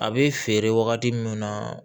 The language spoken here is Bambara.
A bɛ feere wagati min na